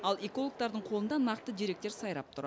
ал экологтардың қолында нақты деректер сайрап тұр